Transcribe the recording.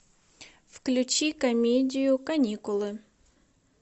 включи комедию каникулы